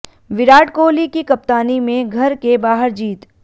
विराट कोहली की कप्तानी में घर के बाहर जीत